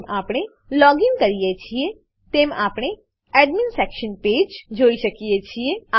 જેમ આપણે લોગીન કરીએ છીએ તેમ આપણે admin section page admin section page જોઈ શકીએ છીએ